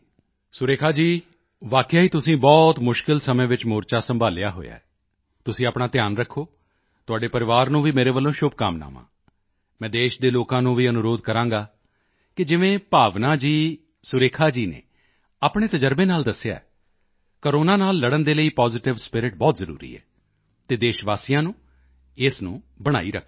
ਸੁਰੇਖਾ ਜੀ ਵਾਕਿਆ ਹੀ ਤੁਸੀਂ ਬਹੁਤ ਮੁਸ਼ਕਿਲ ਸਮੇਂ ਵਿੱਚ ਮੋਰਚਾ ਸੰਭਾਲਿਆ ਹੋਇਆ ਹੈ ਤੁਸੀਂ ਆਪਣਾ ਧਿਆਨ ਰੱਖੋ ਤੁਹਾਡੇ ਪਰਿਵਾਰ ਨੂੰ ਵੀ ਮੇਰੇ ਵੱਲੋਂ ਸ਼ੁਭਕਾਮਨਾਵਾਂ ਮੈਂ ਦੇਸ਼ ਦੇ ਲੋਕਾਂ ਨੂੰ ਵੀ ਅਨੁਰੋਧ ਕਰਾਂਗਾ ਕਿ ਜਿਵੇਂ ਭਾਵਨਾ ਜੀ ਸੁਰੇਖਾ ਜੀ ਨੇ ਆਪਣੇ ਤਜ਼ਰਬੇ ਨਾਲ ਦੱਸਿਆ ਹੈ ਕੋਰੋਨਾ ਨਾਲ ਲੜਨ ਦੇ ਲਈ ਪੋਜ਼ੀਟਿਵ ਸਪਿਰਿਟ ਬਹੁਤ ਜ਼ਰੂਰੀ ਹੈ ਅਤੇ ਦੇਸ਼ਵਾਸੀਆਂ ਨੂੰ ਇਸ ਨੂੰ ਬਣਾਈ ਰੱਖਣਾ ਹੈ